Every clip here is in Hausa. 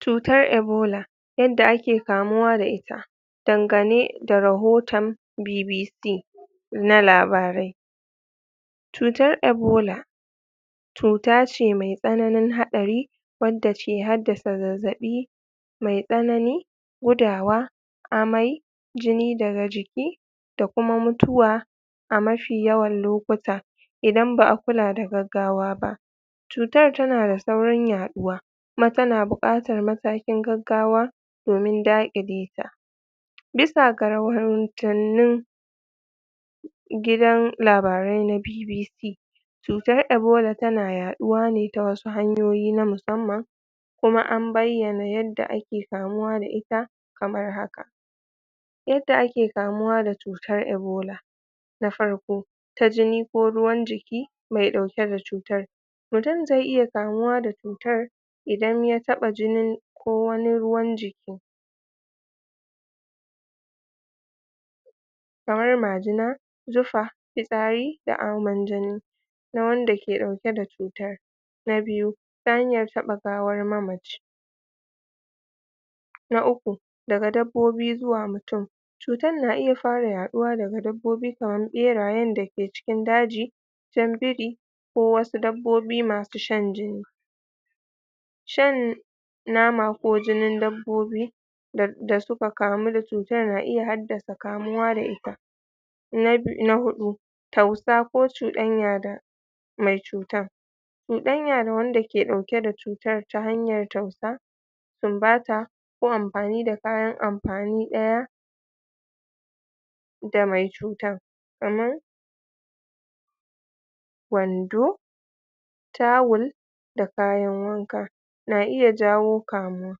cutar ebola yadda ake kamuwa da ita dangane da rahotan bbc na labarai cutar ebola cutace mai tsananin haɗari wanda ce daddasa zazzaɓi mai tsanani gudawa amai jini daga jiki da kuma mutuwa a mafi yawan lokuta idan ba'a kula da gaggawa ba cutar tanada saurin yaɗuwa kuma tana buƙatar matakin gaggawa domin daƙileta bisa ga raurahotanin gidan labarai na bbc cutar ebola tana yaɗuwane ta wasu ta hanyoyi na musan man kuma an bayyana yadda ake kamuwa da ita kamar haka yadda ake kamuwa ta cutar ebola na farko ta jini ko ruwan jiki mai ɗauke da cutar mutum zai iya kamuwa da cutar idan ya taɓa jinin ko wani ruwan jiki kamar majina zufa fitsari da aman jini da wanda ke ɗauke da cutar na biyu ta hanyar taɓa gawar mamaci na uku daga dabbobi zuwa mutum cutan na iya fara yaɗuwa daga dabbobi kaman ɓerayen dake cikin daji jan biri ko wasu dabbobi masu shan jini shan nama ko jinin dabbobi da da suka kamu da cutar na iya haddasa kamuwa da ita na bi na huɗu tausa ko cuɗanya da mai cutan cuɗanya da wandake ɗauke dake da cutar ta hanyar tausa sinbata ko amfani da kayan amfani ɗaya da mai cutar kaman wando tawul da kayan wanka na iya jawo kamuwa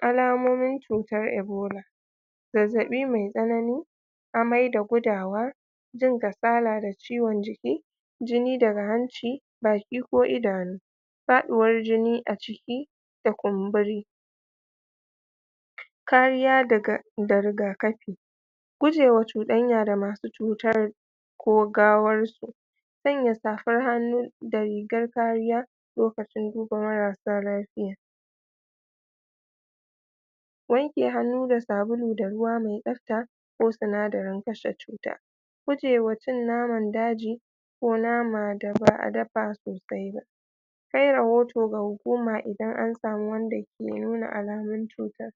alamomin cutar ebola zazzaɓi mai tsanani amai da gudawa jin kasala da ciwan jiki jini daga hanci baki ko idanu faɗuwan jini a ciki da kumbori kariya daga da riga kafi gujewa cuɗanya da masu cutar ko gawar su sanya safar hannu da rigar kariya lokacin duba marasa lafiya wanke hannu da sabulu da ruwa mai tsafta ko sinadarin kashe cuta gujewa cin naman daji ko mana daba dafa sosai ba kai rahoto ga hukuma idan an sama wanda ke nuna alamun cutar